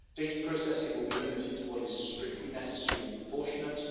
Data processing will be limited to what is strictly necessary and proportionate.